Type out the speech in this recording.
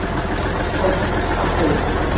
oft kvarta ég